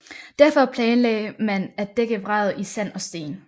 Derfor planlagde man at dække vraget i sand og sten